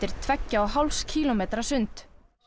tveggja og hálfs kílómetra sund